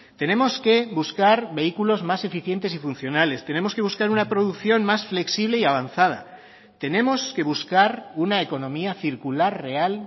tenemos que buscar vehículos más eficientes y funcionales tenemos que buscar una producción más flexible y avanzada tenemos que buscar una economía circular real